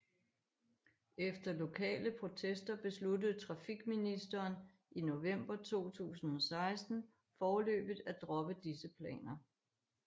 Efter lokale protester besluttede trafikministeren i november 2016 foreløbigt at droppe disse planer